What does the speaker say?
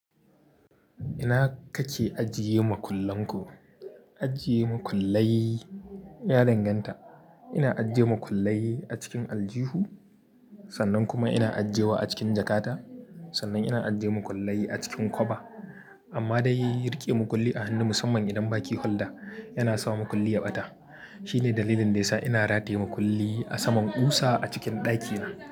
Ina kake ajiye makullan ku? Ajiye makullaye, ya danganta. Ina ajiye makullaye a cikin aljihu, sannan kuma ina ajiyewa a cikin jakata, sannan ina ajiye makullaye a cikin kofa. Amma da yin riƙe makulli a hannu musamman idan baki hulɗa, yana sa makulli ya ɓata. Shi ne dalilin da ya sa ina rataye makulli a saman ƙusa a cikin ɗakina.